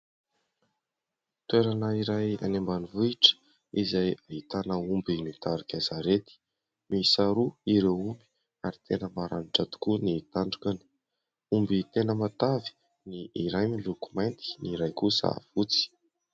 Toerana iray any ambanivohitra izay ahitana omby mitarika sarety. Miisa roa ireo omby ary tena maranitra tokoa ny tandrony. Omby tena matavy: ny iray miloko mainty, ny iray kosa fotsy.